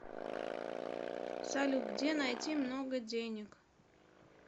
салют где найти много денег